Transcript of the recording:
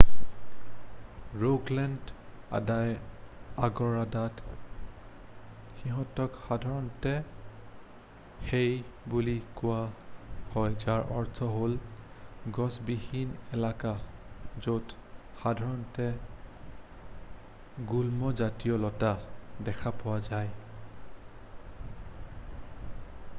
Rogaland আদায় আগদাৰত সিহঁতক সাধাৰণতে হেই' বুলি কোৱা হয় যাৰ অৰ্থ হ'ল গছবিহীন এলেকা য'ত সাধাৰণতে গুল্ম জাতীয় লতা দেখা পোৱা যায়